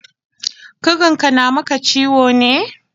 Ƙugunka na maka ciwo ne?